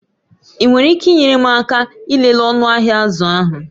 Ị nwere ike inyere m aka ịlele ọnụ ahịa azụ ahụ?